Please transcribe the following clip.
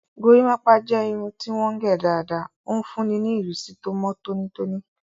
Gorímápá jẹ́ irun tí wọ́n gẹ̀ dáadáa, ó ń fúnni ní ìrísí tó mọ́ tónítóní